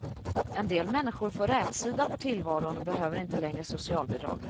En del människor får rätsida på tillvaron och behöver inte längre socialbidrag.